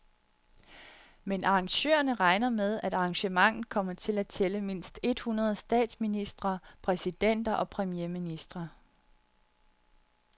Men arrangørerne regner med, at arrangementet kommer til at tælle mindst et hundrede statsministre, præsidenter og premierministre.